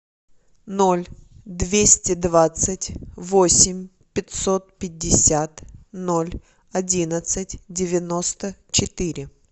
ноль двести двадцать восемь пятьсот пятьдесят ноль одиннадцать девяносто четыре